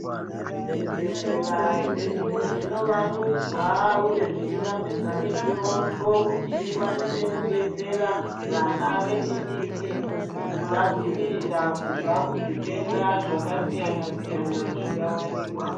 Zvibhehlera zvedu zvinovandudzwa uye zvichivandudza mutombo kuti ikwanise kudetsera vana vechidiki kuvadzivirira kubva kuzvitenda zvakasiyana siyana zvingawanikwa .